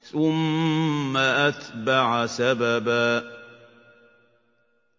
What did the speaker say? ثُمَّ أَتْبَعَ سَبَبًا